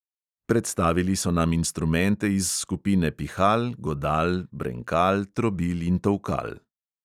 Predstavili so nam instrumente iz skupine pihal, godal, brenkal, trobil in tolkal.